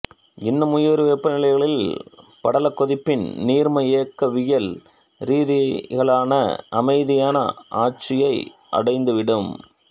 இன்னும் உயர் வெப்பநிலைகளில் படலக்கொதிப்பின் நீர்ம இயக்கவியல் ரீதியிலான அமைதியான ஆட்சியை அடைந்துவிடும்